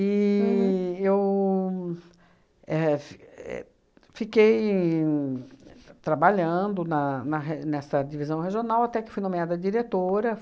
E eu éh f éh fiquei trabalhando na na re nessa divisão regional até que fui nomeada diretora.